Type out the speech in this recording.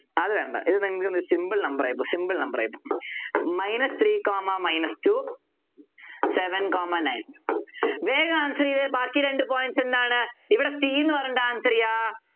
അത് വേണ്ട ഇത് നിങ്ങൾക്ക് simple number ആയി പോകും simple number ആയി പോകും minus three comma minus two seven comma nine വേഗം Answer ചെയ്തേ ബാക്കി രണ്ടു points എന്താണ് ഇവിടെ c ന്നു പറഞ്ഞിട്ട് Answer ചെയ്യാം